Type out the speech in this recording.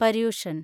Paryushan